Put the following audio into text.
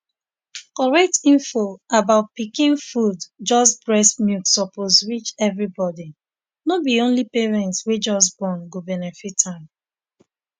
correct info about pikin food join breast milk suppose reach everybody no be only parents wey just born go benefit am